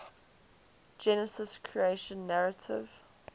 genesis creation narrative